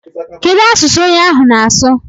Kedụ asụsụ onye ahụ na-asụ?